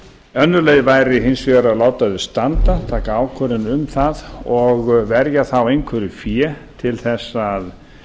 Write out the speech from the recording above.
önnur leið væri hins vegar að láta þau standa taka ákvörðun um það og verja þá einhverju fé til að